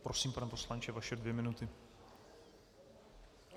Prosím, pane poslanče, vaše dvě minuty.